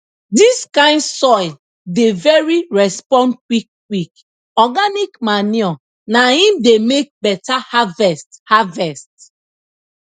dis kind soil dey very respond quick quick organic manure na im dey make beta harvest harvest